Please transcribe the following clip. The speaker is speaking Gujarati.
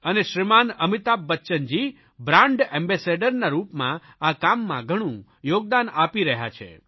અને શ્રીમાન અમિતાભ બચ્ચનજી બ્રાન્ડ એમ્બેસેડરના રૂપમાં આ કામમાં ઘણું યોગદાન આપી રહ્યા છે